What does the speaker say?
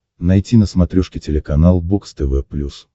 найти на смотрешке телеканал бокс тв плюс